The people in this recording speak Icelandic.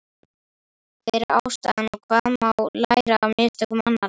Hver er ástæðan og hvað má læra af mistökum annarra?